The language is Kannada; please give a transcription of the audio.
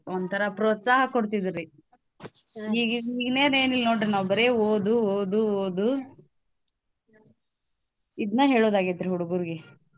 ಒಂತರಾ ಪ್ರೋತ್ಸಾಹ ಕೊಡ್ತಿದ್ರುರಿ ಏನೇನ್ ಏನ್ ಇಲ್ ನೋಡ್ರಿ ನಾವು ಬರೇ ಓದು ಓದು ಓದು ಇದ್ನ ಹೇಳೋದಾಗೇತ್ರಿ ಹುಡ್ಗುರ್ಗೆ.